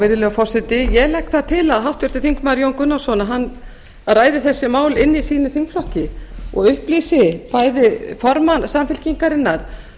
virðulegur forseti ég legg það til að háttvirtur þingmaður jón gunnarsson ræði þessi mál inni í sínum þingflokki og upplýsi bæði formann samfylkingarinnar